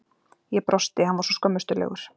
Ég brosti, hann var svo skömmustulegur.